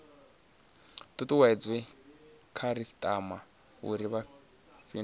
tutuwedze khasitama uri i fhindule